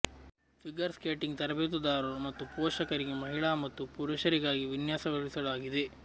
figure skating ತರಬೇತುದಾರರು ಮತ್ತು ಪೋಷಕರಿಗೆ ಮಹಿಳಾ ಮತ್ತು ಪುರುಷರಿಗಾಗಿ ವಿನ್ಯಾಸಗೊಳಿಸಲಾಗಿದೆ